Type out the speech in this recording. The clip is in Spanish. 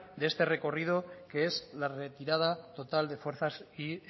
de este recorrido que es la retirada total de fuerzas y